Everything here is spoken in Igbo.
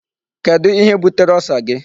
Kedụ ihe butere Ulcer gị?